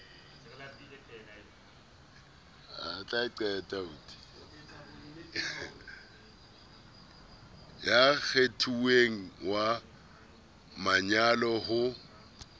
ya kgethuweng wa manyalo ho